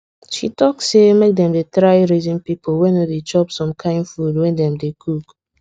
she talk say make dem dey try reason people wey no dey chop some kind food when dem dey cook